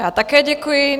Já také děkuji.